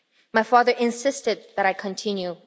My father insisted that I continue.